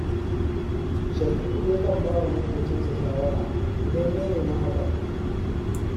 Shafi’u yakan ba wa maƙocinsa shawara, idan ya nemi hakan